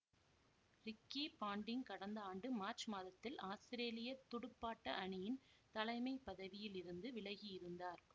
Ricky Ponting கடந்த ஆண்டு மார்ச் மாதத்தில் ஆஸ்திரேலிய துடுப்பாட்ட அணியின் தலைமை பதவியில் இருந்து விலகியிருந்தார்